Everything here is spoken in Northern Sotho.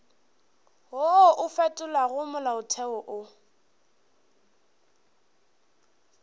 wo o fetolago molaotheo o